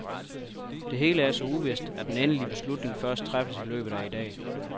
Det hele er så uvist, at den endelige beslutning først træffes i løbet af i dag.